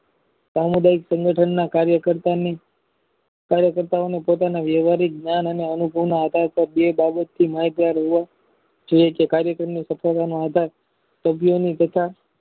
સામુદાયિક સંગઠના કાર્ય કરતા ની પોતાના વ્યવહારિક જ્ઞાન અને અનુભવના આધારે બે બાજુ થી લાચાર હોવા કાર્ય કારની સફળતાનો આધાર સભ્યો ની તથા